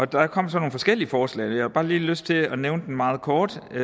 der kom så nogle forskellige forslag og jeg har bare lige lyst til at nævne dem meget kort det